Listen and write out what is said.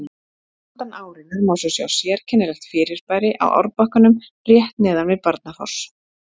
Handan árinnar má svo sjá sérkennilegt fyrirbæri á árbakkanum rétt neðan við Barnafoss.